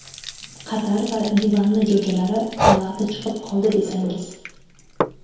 Qatar va Livanni jo‘jalari palag‘da chiqib qoldi desangiz.